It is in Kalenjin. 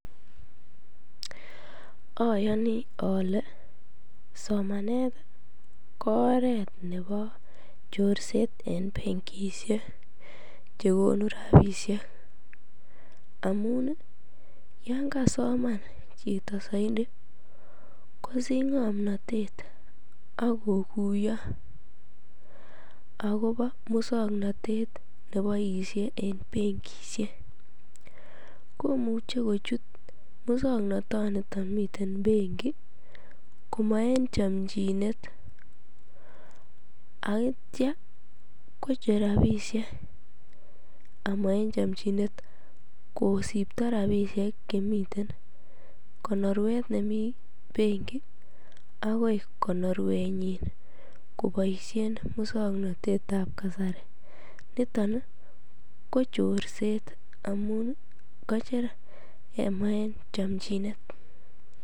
Ayoni ale somanet ko oret nepo chorset en bankishek chekonu rapiseik amun ii yangasoman chito zaidi kosich ng'omnotet akokuiyo akopo musong'onotet neboisie en bankishiek komuche kochut musong'ononito miten benki komo en chomchinet akitia kocher rapisiek amo en chomchinet kosipto rapisiek chemiten konorwet nemiten benki akoi konorwenyin koboisien musong'onotetap kasari nito ko chorset amun kocher amo en chomnjinet.